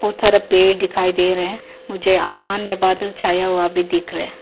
बहुत सारा पेड़ दिखाई दे रहा है मुझे आसमान में बादल छाया हुआ दिख रहा है।